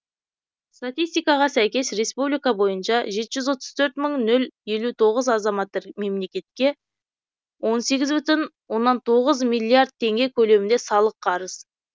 статистикаға сәйкес республика бойынша жеті жүз отыз төрт мың нөл елу тоғыз азамат мемлекетке он сегіз бүтін оннан тоғыз миллиард теңге көлемінде салық қарыз